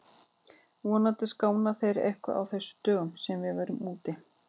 Vonandi skána þeir eitthvað á þessum dögum sem við verðum úti.